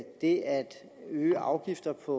der